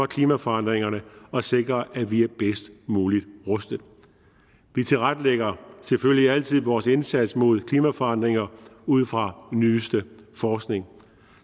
klimaforandringerne og sikre at vi er bedst muligt rustet vi tilrettelægger selvfølgelig altid vores indsats mod klimaforandringer ud fra den nyeste forskning